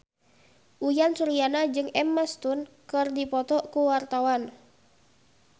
Uyan Suryana jeung Emma Stone keur dipoto ku wartawan